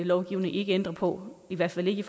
lovgivning ikke ændre på i hvert fald ikke